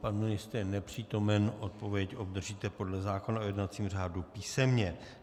Pan ministr je nepřítomen, odpověď obdržíte podle zákona o jednacím řádu písemně.